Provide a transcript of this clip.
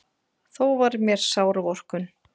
Þó var mér sár vorkunn.